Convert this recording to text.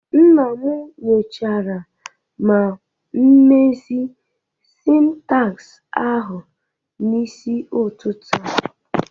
Nna m nyochara ma mezie syntax ahụ n'isi ụtụtụ a